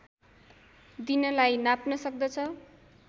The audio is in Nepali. दिनलाई नाप्न सक्दछ